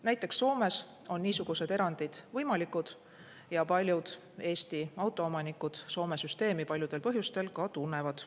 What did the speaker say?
Näiteks Soomes on niisugused erandid võimalikud ja paljud Eesti autoomanikud Soome süsteemi paljudel põhjustel ka tunnevad.